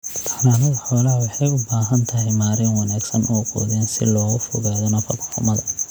Xanaanada xoolaha waxay u baahan tahay maareyn wanaagsan oo quudin si looga fogaado nafaqo-xumada